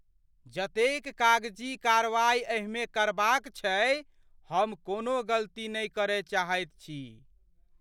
जतेक कागजी कारवाई एहिमे करबाक छैक, हम कोनो गलती नहि करय चाहैत छी।